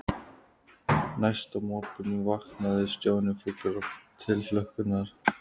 Næsta morgun vaknaði Stjáni fullur tilhlökkunar.